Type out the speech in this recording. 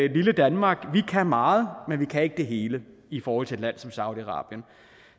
i lille danmark kan meget men vi kan ikke det hele i forhold til et land som saudi arabien